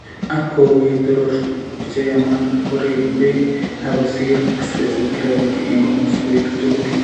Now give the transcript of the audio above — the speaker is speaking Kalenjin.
Ak ko uu ye toroor tuguuk che yaamaat, koregu peek, ak kosiir specific gravity eng' komoswek tugul.